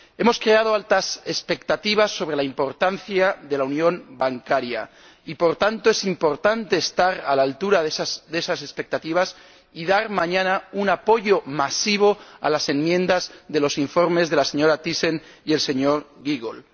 Hemos creado altas expectativas sobre la importancia de la unión bancaria y, por tanto, es importante estar a la altura de esas expectativas y dar mañana un apoyo masivo a las enmiendas de los informes de la señora Thyssen y del señor Giegold.